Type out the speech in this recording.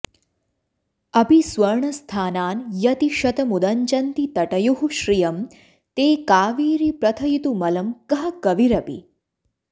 अपि स्वर्णस्थानान्यतिशतमुदञ्चन्ति तटयोः श्रियं ते कावेरि प्रथयितुमलं कः कविरपि